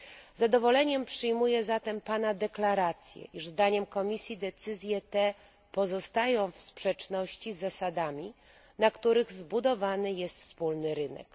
Z zadowoleniem przyjmuję zatem pana deklarację, iż zdaniem Komisji decyzje te pozostają w sprzeczności z zasadami, na których zbudowany jest wspólny rynek.